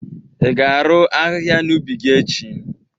ị ga-arụ ahịhịa n'ubi gị echi?